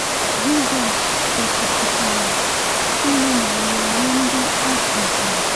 Jisọs gosipụtara ịhụnanya nye ndị o kụziri.